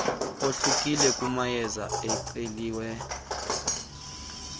ohlukile kumayeza ebeceliwe